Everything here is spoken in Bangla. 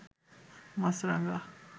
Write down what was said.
মাছরাঙা